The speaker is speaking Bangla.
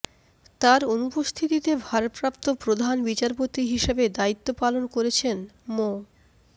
তার অনুপস্থিতিতে ভারপ্রাপ্ত প্রধান বিচারপতি হিসেবে দায়িত্ব পালন করেছেন মো